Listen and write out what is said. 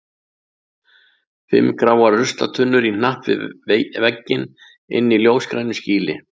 Fimm gráar ruslatunnur í hnapp við vegginn inni í ljósgrænu skýli.